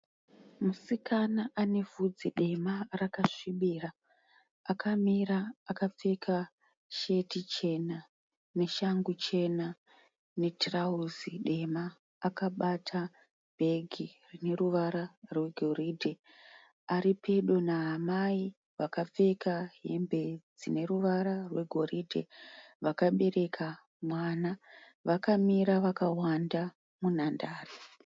Musikana anevhudzi dema rakasvibira akamira akapfeka sheti chena, neshangu chena, netirauzi dema akabata bhegi rineruvara rwe goriidhe. Aripedo naamai vakapfeka hembe dzine ruvara rwe goridhe vakabereka mwana ,vakamira vakawanda munhandare .